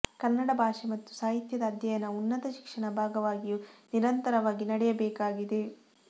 ಕನ್ನಡ ಭಾಷೆ ಮತ್ತು ಸಾಹಿತ್ಯದ ಅಧ್ಯಯನ ಉನ್ನತ ಶಿಕ್ಷಣ ಭಾಗವಾಗಿಯೂ ನಿರಂತರವಾಗಿ ನಡೆಯಬೇಕಾಗಿದೆ